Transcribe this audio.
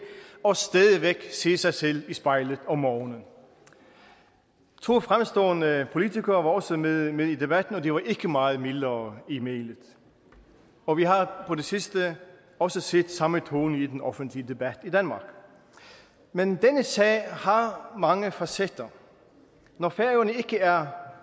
og stadig væk se sig selv i spejlet om morgenen to fremstående politikere var også med med i debatten og de var ikke meget mildere i mælet og vi har på det sidste også set samme tone i den offentlig debat i danmark men denne sag har mange facetter når færøerne ikke er